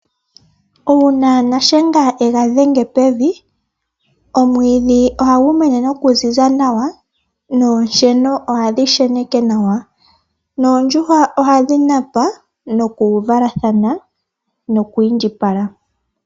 Uuna shiyenga shaNangombe ega dhenge pevi, omwiidhi ohagu mene nokuziza nawa noonsheno ohadhi sheneke nawa, noondjuhwa ohadhi napa, nokuvalathana nokwiindjipala.